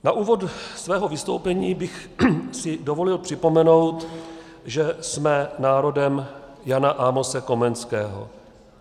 Na úvod svého vystoupení bych si dovolil připomenout, že jsme národem Jana Amose Komenského.